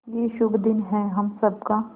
ये शुभ दिन है हम सब का